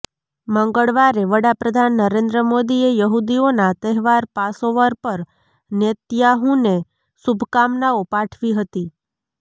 મંગળવારે વડાપ્રધાન નરેન્દ્ર મોદીએ યહૂદીઓના તહેવાર પાસોવર પર નેતન્યાહૂને શુભકામનાઓ પાઠવી હતી